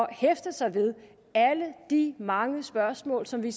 at hæfte sig ved alle de mange spørgsmål som vi